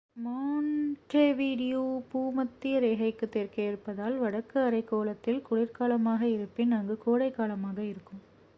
Montevideo பூமத்திய ரேகைக்கு தெற்கே இருப்பதால் வடக்கு அரைக்கோளத்தில் குளிர்காலமாக இருப்பின் அங்கு கோடை காலமாக இருக்கும்